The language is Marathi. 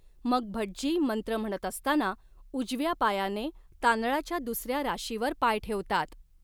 मग भटजी मंत्र म्हणत असताना उजव्या पायाने तांदळाच्या दुसऱ्या राशीवर पाय ठेवतात.